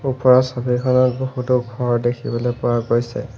ওপৰৰ ছবিখনত বহুতো ঘৰ দেখিবলৈ পোৱা গৈছে।